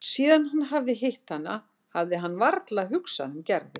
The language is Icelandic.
Síðan hann hafði hitt hana hafði hann varla hugsað um Gerði.